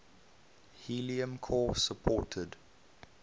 helium core supported